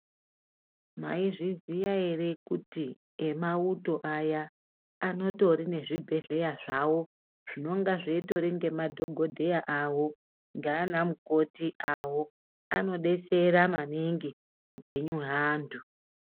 Maizviziya ere kuti emauto aya anotori nezvibhedhleya zvawo zvinonga zvitori ngemadhokodheya awo ngeanamukoti awo anodetsera maningi upenyu hweanthu.